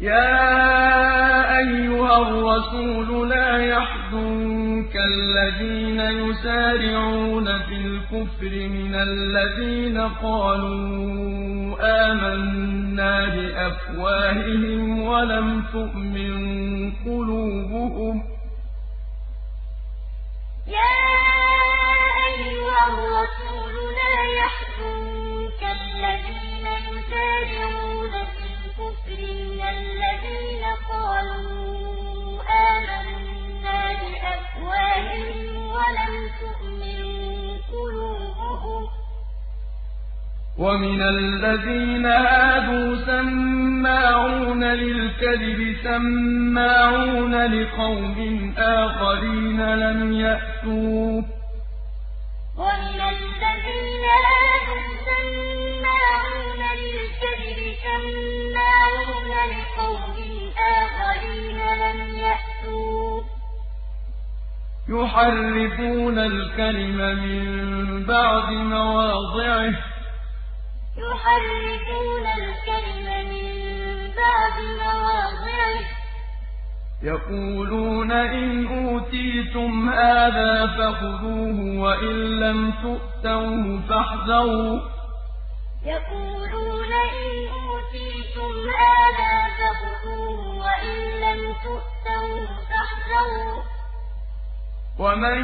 ۞ يَا أَيُّهَا الرَّسُولُ لَا يَحْزُنكَ الَّذِينَ يُسَارِعُونَ فِي الْكُفْرِ مِنَ الَّذِينَ قَالُوا آمَنَّا بِأَفْوَاهِهِمْ وَلَمْ تُؤْمِن قُلُوبُهُمْ ۛ وَمِنَ الَّذِينَ هَادُوا ۛ سَمَّاعُونَ لِلْكَذِبِ سَمَّاعُونَ لِقَوْمٍ آخَرِينَ لَمْ يَأْتُوكَ ۖ يُحَرِّفُونَ الْكَلِمَ مِن بَعْدِ مَوَاضِعِهِ ۖ يَقُولُونَ إِنْ أُوتِيتُمْ هَٰذَا فَخُذُوهُ وَإِن لَّمْ تُؤْتَوْهُ فَاحْذَرُوا ۚ وَمَن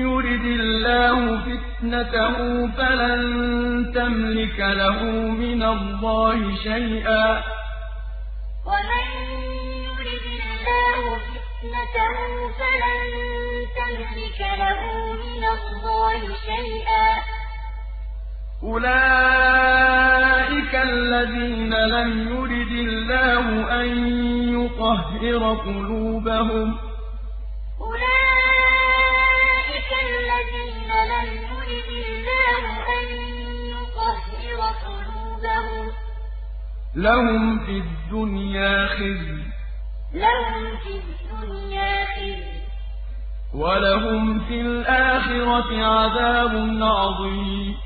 يُرِدِ اللَّهُ فِتْنَتَهُ فَلَن تَمْلِكَ لَهُ مِنَ اللَّهِ شَيْئًا ۚ أُولَٰئِكَ الَّذِينَ لَمْ يُرِدِ اللَّهُ أَن يُطَهِّرَ قُلُوبَهُمْ ۚ لَهُمْ فِي الدُّنْيَا خِزْيٌ ۖ وَلَهُمْ فِي الْآخِرَةِ عَذَابٌ عَظِيمٌ ۞ يَا أَيُّهَا الرَّسُولُ لَا يَحْزُنكَ الَّذِينَ يُسَارِعُونَ فِي الْكُفْرِ مِنَ الَّذِينَ قَالُوا آمَنَّا بِأَفْوَاهِهِمْ وَلَمْ تُؤْمِن قُلُوبُهُمْ ۛ وَمِنَ الَّذِينَ هَادُوا ۛ سَمَّاعُونَ لِلْكَذِبِ سَمَّاعُونَ لِقَوْمٍ آخَرِينَ لَمْ يَأْتُوكَ ۖ يُحَرِّفُونَ الْكَلِمَ مِن بَعْدِ مَوَاضِعِهِ ۖ يَقُولُونَ إِنْ أُوتِيتُمْ هَٰذَا فَخُذُوهُ وَإِن لَّمْ تُؤْتَوْهُ فَاحْذَرُوا ۚ وَمَن يُرِدِ اللَّهُ فِتْنَتَهُ فَلَن تَمْلِكَ لَهُ مِنَ اللَّهِ شَيْئًا ۚ أُولَٰئِكَ الَّذِينَ لَمْ يُرِدِ اللَّهُ أَن يُطَهِّرَ قُلُوبَهُمْ ۚ لَهُمْ فِي الدُّنْيَا خِزْيٌ ۖ وَلَهُمْ فِي الْآخِرَةِ عَذَابٌ عَظِيمٌ